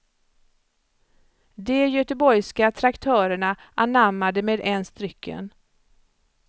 De göteborgska traktörerna anammade med ens drycken.